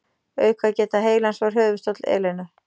Aukageta heilans var höfuðstóll Elenu.